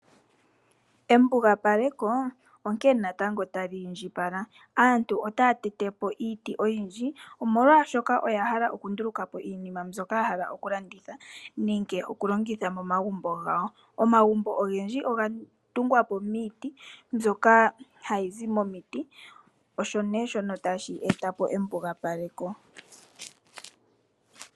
Embugapaleko onkene natango tali indjipala, aantu otaya tete po iiti oyindji. Omolwashoka oya hala oku nduluka po iinima mbyoka ya hala oku landitha, nenge oku longitha momagumbo gawo. Omagumbo ogendji oga tungwa po miiti mbyoka hayi zi momiti. Osho nduno shono tashi eta embugapaleko.